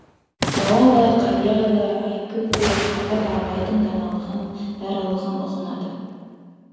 бала да қария да әкім де қара да абайдың даналағын даралығын ұғынады